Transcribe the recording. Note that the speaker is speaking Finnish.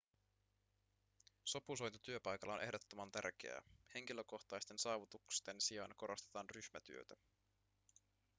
sopusointu työpaikalla on ehdottoman tärkeää henkilökohtaisten saavutusten sijaan korostetaan ryhmätyötä